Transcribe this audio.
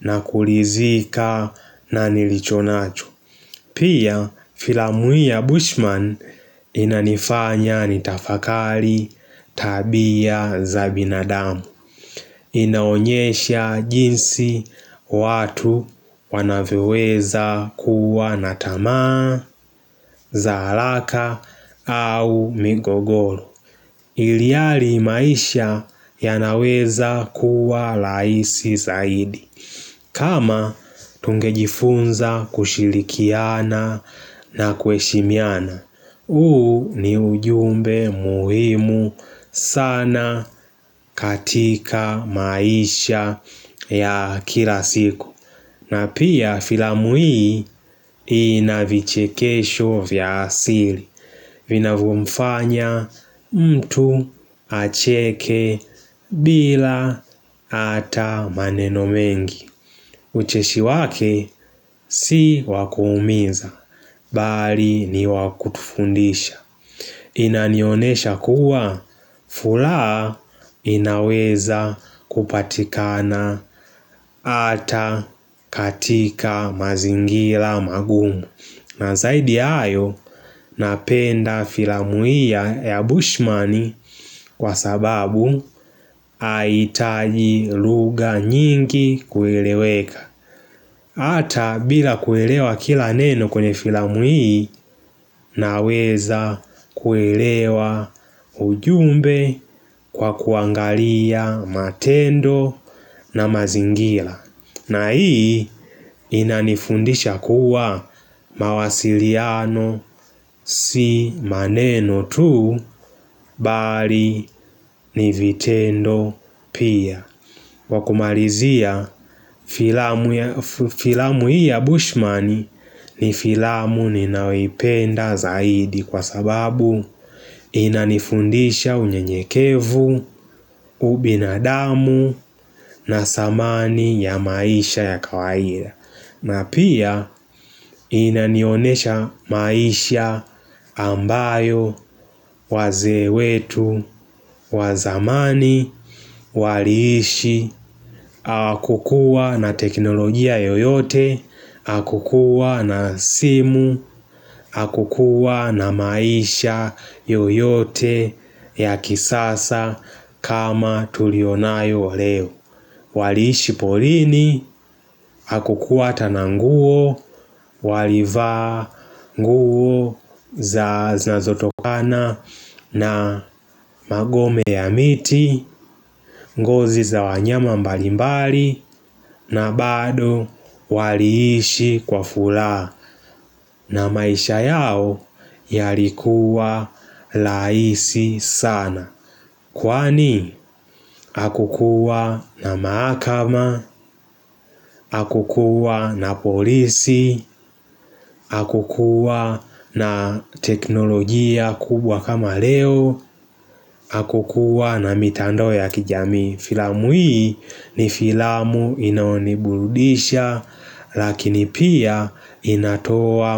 na kuridhika na nilichonacho. Pia filamu hii ya Bushman inanifanya nitafakari tabia za binadamu inaonyesha jinsi watu wanavyoweza kuwa na tamaa za haraka au migogoro ilhali maisha yanaweza kuwa rahisi zaidi kama tungejifunza kushirikiana na kuheshimiana, huu ni ujumbe muhimu sana katika maisha ya kila siku. Na pia filamu hii inavichekesho vya asili. Vinavyomfanya mtu acheke bila hata maneno mengi. Ucheshi wake si wakuumiza, mbali niwakutufundisha. Inanionyesha kuwa furaha inaweza kupatikana hata katika mazingira magumu na zaidi ya hayo napenda filamu hii ya Bushman kwa sababu haihitaji lugha nyingi kueleweka Hata bila kuelewa kila neno kwenye filamu hii naweza kuelewa ujumbe kwa kuangalia matendo na mazingira. Na hii inanifundisha kuwa mawasiliano si maneno tu mbali ni vitendo pia. Kwa kumalizia, filamu hii ya Bushman ni filamu ninayoipenda zaidi kwa sababu inanifundisha unyenyekevu, ubinadamu na dhamani ya maisha ya kawaida. Na pia inanionyesha maisha ambayo wazee wetu wa zamani waliishi, hawakukuwa na teknologia yoyote, hawakukuwa na simu, hawakukuwa na maisha yoyote ya kisasa kama tuliyonayo leo. Waliishi porini, hawakukuwa na nguo, walivaa nguo zinazotokana na magome ya miti, ngozi za wanyama mbalimbali, na bado waliishi kwa furaha na maisha yao yalikuwa rahisi sana Kwani hakukuwa na mahakama, akukuwa na polisi, hakukuwa na teknolojia kubwa kama leo, hakukuwa na mitando ya kijamii. Filamu hii ni filamu inaoniburudisha lakini pia inatoa.